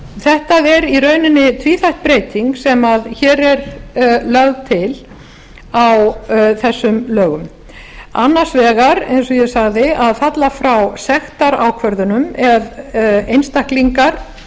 þetta er í rauninni tvíþætt breyting sem hér er lögð til á þessum lögum annars vegar eins og ég sagði að falla frá sektarákvörðunum ef